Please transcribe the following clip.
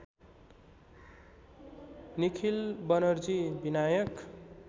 Nikhil Banerjee Vinayak